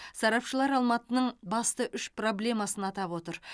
сарапшылар алматының басты үш проблемасын атап отыр